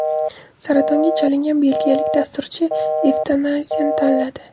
Saratonga chalingan belgiyalik dasturchi evtanaziyani tanladi.